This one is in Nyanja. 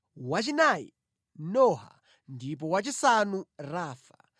wachinayi Noha ndipo wachisanu Rafa.